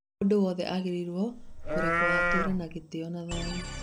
Mũndũ wothe agĩrĩirwo kũrekwo atũre na gĩtĩo na thayũ.